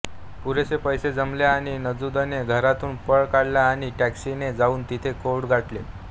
पुरेसे पैसे जमले आणि नुजूदने घरातून पळ काढला आणि टॅक्सीने जाऊन तिने कोर्ट गाठले